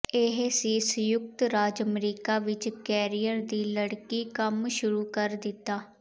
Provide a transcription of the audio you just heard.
ਇਹ ਸੀ ਸੰਯੁਕਤ ਰਾਜ ਅਮਰੀਕਾ ਵਿੱਚ ਕੈਰੀਅਰ ਦੀ ਲੜਕੀ ਕੰਮ ਸ਼ੁਰੂ ਕਰ ਦਿੱਤਾ